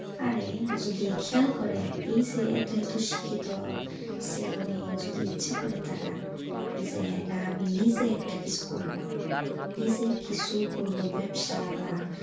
হ্যাঁ রে যদি খেয়াল করে এই যে এত এত শিক্ষিত সেই মেয়ে যদি ইচ্ছা করে তারা যে না আমি নিজে একটা কিছু করবো নিজে কিছু করবো ব্যবসা বা,